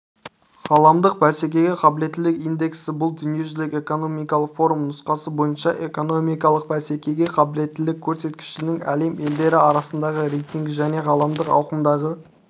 ғаламдық бәсекеге қабілеттілік индексі бұл дүниежүзілік экономикалық форум нұсқасы бойынша экономикалық бәсекеге қабілеттілік көрсеткішнің әлем елдері арасындағы рейтингі және ғаламдық ауқымдағы